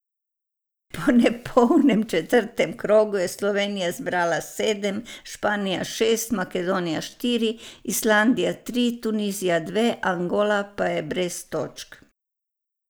Po nepolnem četrtem krogu je Slovenija zbrala sedem, Španija šest, Makedonija štiri, Islandija tri, Tunizija dve, Angola pa je brez točk.